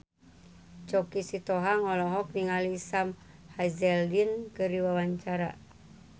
Choky Sitohang olohok ningali Sam Hazeldine keur diwawancara